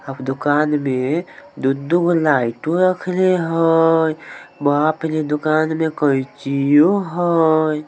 Up दुकान में दू दू गो लाईट रखले हेय वहां पे दुकान मे कैंचीयो हय।